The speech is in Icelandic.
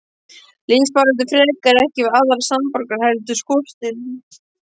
Lífsbaráttu frekar, ekki við aðra samborgara heldur skortinn.